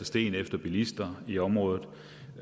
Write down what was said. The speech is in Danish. sten efter bilister i området